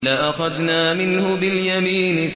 لَأَخَذْنَا مِنْهُ بِالْيَمِينِ